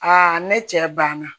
ne cɛ banna